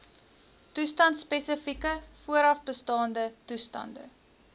toestandspesifieke voorafbestaande toestande